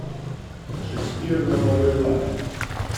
шекспир на новый лад